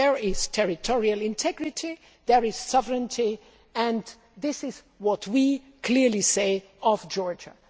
There is territorial integrity and there is sovereignty, and this is what we clearly say of Georgia.